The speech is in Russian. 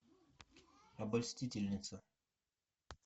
обольстительница